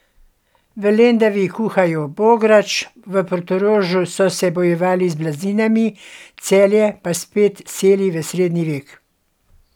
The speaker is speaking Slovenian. V Lendavi kuhajo bograč, v Portorožu so se bojevali z blazinami, Celje pa spet seli v srednji vek.